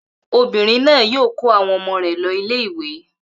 Obìnrin náà yóò kó àwọn ọmọ rẹ̀ lọ ilé-ìwé.